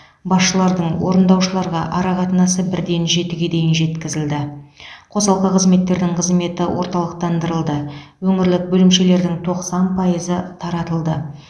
басшылардың орындаушыларға арақатынасы бірден жетіге дейін жеткізілді қосалқы қызметтердің қызметі орталықтандырылды өңірлік бөлімшелердің тоқсан пайызы таратылды